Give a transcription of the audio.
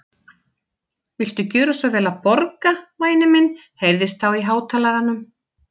Viltu gjöra svo vel að borga, væni minn heyrðist þá í hátalaranum.